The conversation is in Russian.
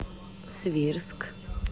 свирск